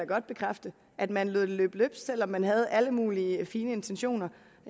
godt bekræfte at man lod det løbe løbsk selv om man havde alle mulige fine intentioner